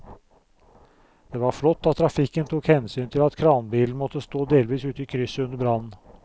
Det var flott at trafikken tok hensyn til at kranbilen måtte stå delvis ute i krysset under brannen.